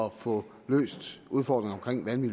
at få løst udfordringerne